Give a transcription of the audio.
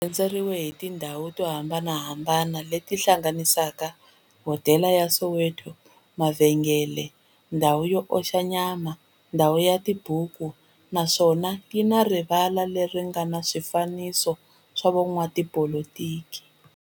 Rhendzeriwile hi tindhawu to hambanahambana le ti hlanganisaka, hodela ya Soweto, mavhengele, ndhawu yo oxa nyama, ndhawu yo hlayisa tibuku, naswona yi na rivala le ri nga na swifanekiso swa vo n'watipolitiki.